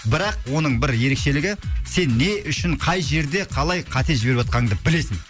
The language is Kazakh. бірақ оның бір ерекшелігі сен не үшін қай жерде қалай қате жіберіп жатқаныңды білесің